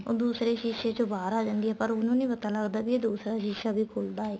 ਉਹ ਦੂਸਰੇ ਸ਼ੀਸੇ ਚੋ ਬਾਹਰ ਆ ਜਾਂਦੀ ਏ ਪਰ ਉਹਨੂੰ ਨਹੀਂ ਪਤਾ ਲੱਗਦਾ ਏ ਵੀ ਇਹ ਦੂਸਰਾ ਸ਼ੀਸਾ ਵੀ ਖੁੱਲਦਾ ਏ